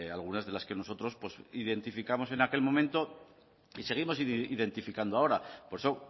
algunas de las que nosotros pues identificamos en aquel momento y seguimos identificando ahora por eso